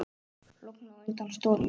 Logn á undan stormi.